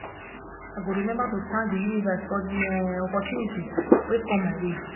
i go remember to thank the universe for the um opportunities wey come my way